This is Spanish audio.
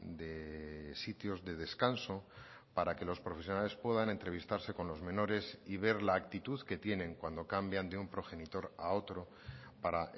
de sitios de descanso para que los profesionales puedan entrevistarse con los menores y ver la actitud que tienen cuando cambian de un progenitor a otro para